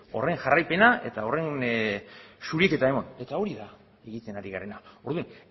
horren jarraipena eta horren zuriketa eman eta hori da egiten ari garena orduan